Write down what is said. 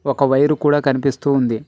ఒక వైరు కూడా కనిపిస్తూ ఉంది.